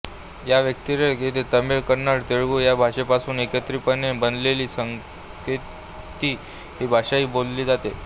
या व्यतिरीक्त येथे तमिळ कन्नड तेलुगू या भाषेपासून एकत्रितपणे बनलेली संकेती ही भाषाही बोलली जाते